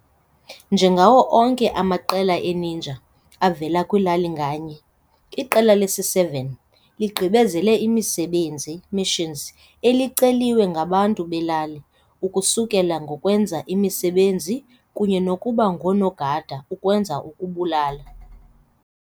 Njengawo onke amaqela e-ninja avela kwilali nganye, iQela lesi-7 ligqibezela imisebenzi, missions, eliceliwe ngabantu belali, ukusukela ngokwenza imisebenzi kunye nokuba ngoonogada ukwenza ukubulala.